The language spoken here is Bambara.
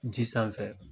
Ji sanfɛ